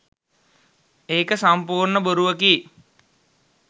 ඒක සම්පූර්ණ බොරුවකි.